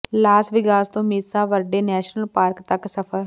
Las Vegas ਤੋਂ Mesa Verde national park ਤਕ ਸਫ਼ਰ